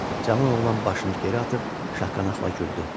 Cavan oğlan başını geri atıb şaqqaqla güldü.